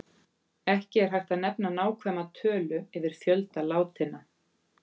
Ekki er hægt að nefna nákvæma tölu yfir fjölda látinna.